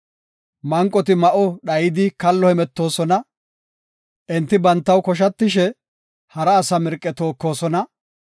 Manqoti ma7o dhayidi kallo hemetoosona; enti bantaw koshatishe hara asa mirqe tookosona.